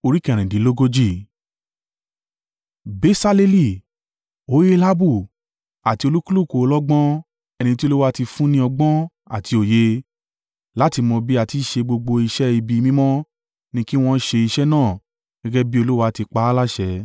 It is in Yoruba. Besaleli, Oholiabu àti olúkúlùkù ọlọ́gbọ́n ẹni tí Olúwa tí fún ní ọgbọ́n àti òye láti mọ bí a ti í ṣe gbogbo iṣẹ́ ibi mímọ́ ni kí wọn ṣe iṣẹ́ náà gẹ́gẹ́ bí Olúwa ti pa á láṣẹ.”